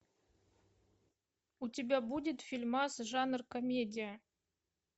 у тебя будет фильмас жанр комедия